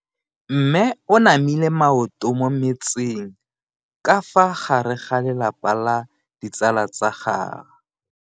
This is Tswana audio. Mme o namile maoto mo mmetseng ka fa gare ga lelapa le ditsala tsa gagwe.